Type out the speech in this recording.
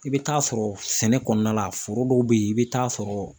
I bɛ taa sɔrɔ sɛnɛ kɔnɔna la foro dɔw bɛ yen i bɛ taa sɔrɔ